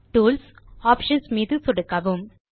tools gt options மீது சொடுக்கவும்